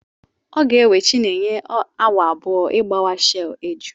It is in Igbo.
Ọ ga-ewe chinenye awa abụọ ịgbawa shei eju.